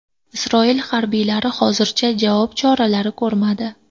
Isroil harbiylari hozircha javob choralari ko‘rmadi.